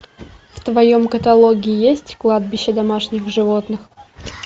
в твоем каталоге есть кладбище домашних животных